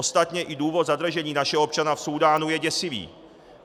Ostatně i důvod zadržení našeho občana v Súdánu je děsivý.